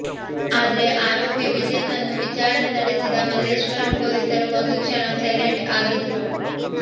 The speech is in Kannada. ಅದ್ರೆ ಆರೋಪಿ ವಿಜಯ್ ನನ್ನು ವಿಚಾರಣೆ ನಡೆಸಿದ ಮಲ್ಲೇಶ್ವರಂ ಪೊಲೀಸರು ಒಂದು ಕ್ಷಣ ಸೈಲೆಂಟ್ ಆಗಿದ್ರು